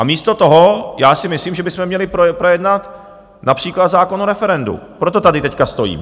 A místo toho já si myslím, že bychom měli projednat například zákon o referendu, proto tady teď stojím.